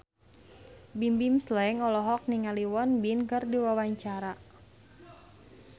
Bimbim Slank olohok ningali Won Bin keur diwawancara